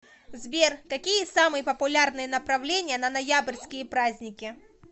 сбер какие самые популярные направления на ноябрьские праздники